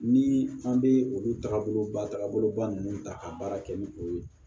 Ni an bɛ olu taabolo ba taagabolo ba ninnu ta k'a baara kɛ ni o ye